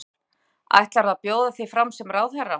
Kristján Már: Ætlarðu að bjóða þig fram sem ráðherra?